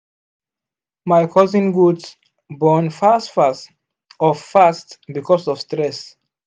my cousin goat born fast fast because of fast because of stress